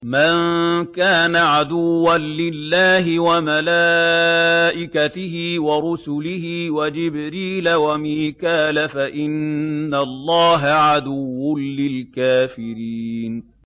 مَن كَانَ عَدُوًّا لِّلَّهِ وَمَلَائِكَتِهِ وَرُسُلِهِ وَجِبْرِيلَ وَمِيكَالَ فَإِنَّ اللَّهَ عَدُوٌّ لِّلْكَافِرِينَ